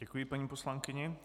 Děkuji paní poslankyni.